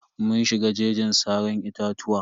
Mun shiga jeji saran itatuwa.